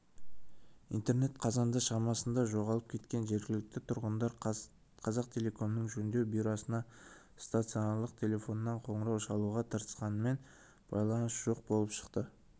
интернет қазанда шамасында жоғалып кеткен жергілікті тұрғындар қазақтелекомның жөндеу бюросына стационарлық телефоннан қоңырау шалуға тырысқанымен байланыс жоқ болып шықты